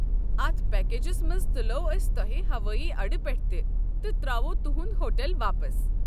اتھ پیکیجس منٛز تُلوو أسۍ توہہِ ہوٲیی اڈٕ پٮ۪ٹھٕ تہِ تہٕ تر٘اوووٕ تُہُنٛد ہوٹل واپس۔